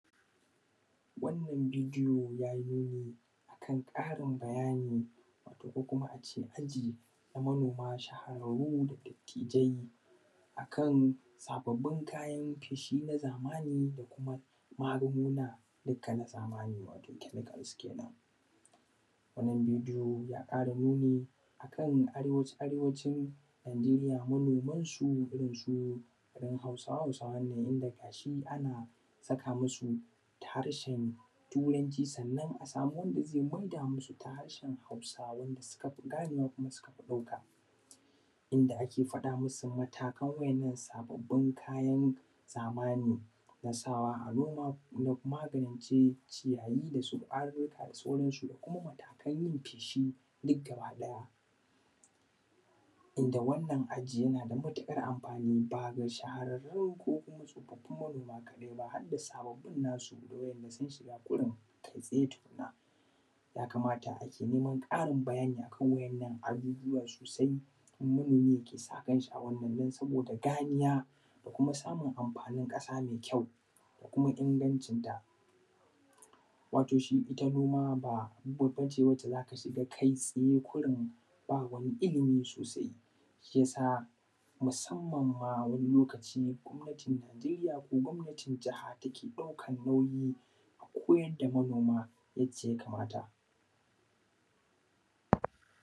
Wannan bidiyo ya yi nuni akan karin bayani wato ko kuma ace aji ga manoma shahararru da dattijai akan sababbin kayan feshi na zamani da kuma magunguna dukka na zamani wato chemicals kenan, wannan bidiyon ya kara nuni ne akan Arewacin Nijeriya manoman su irin su garin hausawa da sauran su inda gashi ana saka masu harshen Turanci sannan a samu wanda zai maida masu ta harshen Hausa wanda suka fi ganewa kuma suka fi ɗauka inda ake faɗa masu matakan waɗannan sababbin kayan zamani na sawa a noma da kuma maganin cire ciyayi da kwarurruka da sauran su da kuma matakan yin feshi duk gaba ɗaya, inda wannan aji yana da matukar amfani baya ga shahararru ko kuma tsofafin manoma kadai ba har da sababbin nasu wanda sun shiga kurum kai tsaye tukunna, ya kamata ake neman karin bayani akan waɗannan ajujuwa sosai in manomi yake sa kanshi a wannan saboda ganiya da kuma samun amfanin kasa mai kyau ko kuma ingancinta, wato shi ita noma ba babba ce wanda zaka shiga kai tsaye kurun ba wani ilimi sosai, shi yasa musamman ma wani lokaci gwamnati Nijeriya ko gwamnatin Jaha take ɗaukan nauyi a koyar da manoma yadda ya kamata